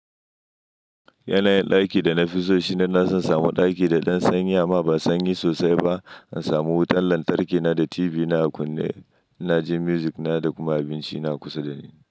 Yanayin ɗakin da na fi so shine na samun ɗaki da ɗan sanyi amma ba sanyi sosai ba, in samu wutan lantarki na da TV na a kunne, na ji music na da kuma abinci na kusa da ni.